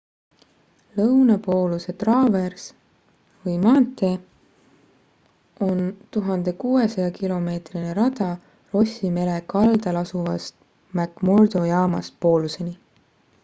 lõunapooluse traavers või maantee on 1600 km rada rossi mere kaldal asuvast mcmurdo jaamast pooluseni